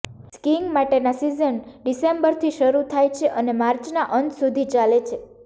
skiing માટેના season ડિસેમ્બરથી શરૂ થાય છે અને માર્ચના અંત સુધી ચાલે છે